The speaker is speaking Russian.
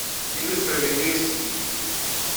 лига справедливости гибель